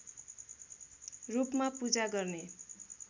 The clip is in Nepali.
रूपमा पूजा गर्ने